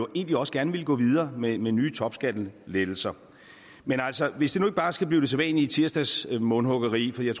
egentlig også gerne ville gå videre med med nye topskattelettelser men altså hvis det nu ikke bare skal blive det sædvanlige tirsdagsmundhuggeri for jeg